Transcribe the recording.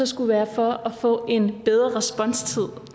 skulle være for at få en bedre responstid